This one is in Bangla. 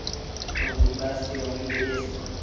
এখনো বুধবার আসতে অনেক দেরি আছে তো।